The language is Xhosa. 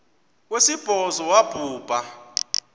wesibhozo wabhu bha